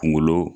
Kungolo